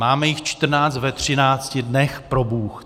Máme jich 14 ve 13 dnech, probůh.